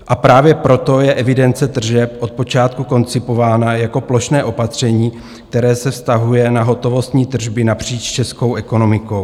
A právě proto je evidence tržeb od počátku koncipována jako plošné opatření, které se vztahuje na hotovostní tržby napříč českou ekonomikou.